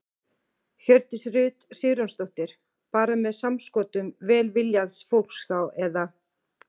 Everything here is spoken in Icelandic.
Hjördís Rut Sigurjónsdóttir: Bara með samskotum velviljaðs fólks þá eða?